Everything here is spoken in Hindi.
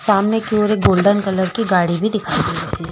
सामने एक ये और एक गोल्डन कलर की गाड़ी भी दिखाई दे रही है।